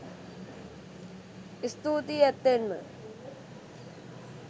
ස්තූතියි ඇත්තෙන්ම